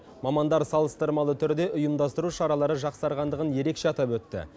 мамандар салыстырмалы түрде ұйымдастыру шаралары жақсарғандығын ерекше атап өтті